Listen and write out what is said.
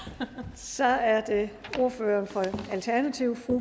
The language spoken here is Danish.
så er det ordføreren for alternativet fru